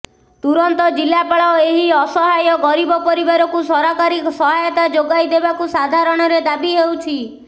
ତୁରନ୍ତ ଜିଲ୍ଲାପାଳ ଏହି ଅସହାୟ ଗରିବ ପରିବାରକୁ ସରକାରୀ ସହାୟତା ଯୋଗାଇଦେବାକୁ ସାଧାରଣରେ ଦାବି ହେଉଛି